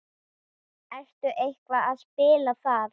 Ertu eitthvað að spila þar?